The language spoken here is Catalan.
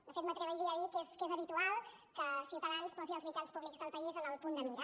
de fet m’atreviria a dir que és habitual que ciutadans posi els mitjans públics del país en el punt de mira